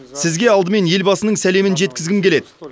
сізге алдымен елбасының сәлемін жеткізгім келеді